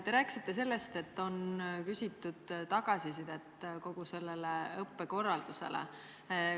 Te rääkisite sellest, et on küsitud tagasisidet kogu õppekorralduse kohta.